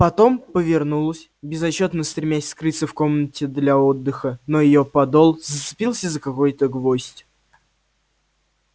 потом повернулась безотчётно стремясь скрыться в комнаты для отдыха но её подол зацепился за какой-то гвоздь